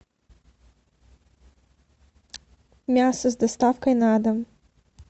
мясо с доставкой на дом